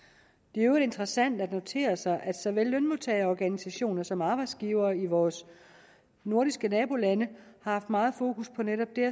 i øvrigt interessant at notere sig at såvel lønmodtagerorganisationer som arbejdsgivere i vores nordiske nabolande har haft meget fokus på netop det